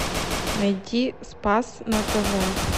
найти спас на тв